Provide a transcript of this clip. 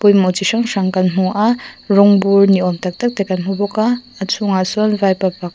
chi hrang hrang kan hmu a rawng but niawm tak tak te kan hmu bawk a a chhungah sawn vaipa pakhat--